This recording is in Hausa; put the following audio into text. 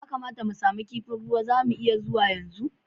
Ya kamata mu samu kifin ruwa, za mu iya zuwa yanzu?